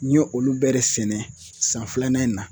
N yo olu bɛɛ de sɛnɛ san filanan in na.